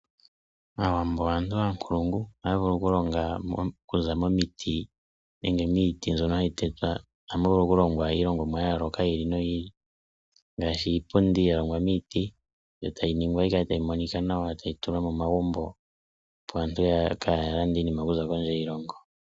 Aawambo oyo aantu aankulungu, ohaya vulu okulonga iipundi okuza miiti opo aantu kaa ya lande iinima okuza kondje yiilongo.